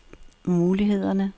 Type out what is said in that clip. mulighederne